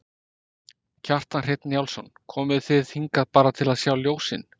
Kjartan Hreinn Njálsson: Komuð þið hingað bara til að sjá ljósin?